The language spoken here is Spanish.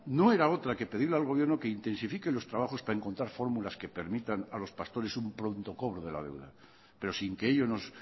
no era otra que pedir al gobierno que intensifique los trabajos para encontrar fórmulas que permitan a los pastores un pronto cobro de la deuda pero sin que ello nos